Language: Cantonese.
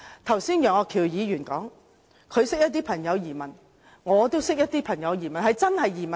剛才楊岳橋議員說認識一些朋友移民，我也認識一些朋友移民。